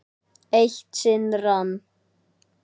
Eitt sinn rann